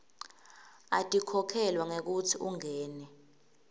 atikhokhelwa ngekutsi ungene